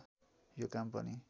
यो काम पनि